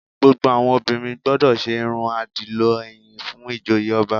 Gbogbo àwọn obìnrin gbọdọ̀ ṣe irun àdìlọ ẹ̀yìn fún ìjoyè ọba